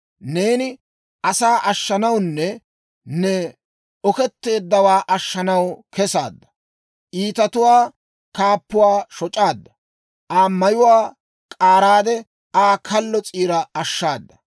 Neeni ne asaa ashshanawunne ne oketteeddawaa ashshanaw kesaadda; iitatuwaa kaappuwaa shoc'aadda; Aa mayuwaa k'aaraade Aa kallo s'iira ashshaada.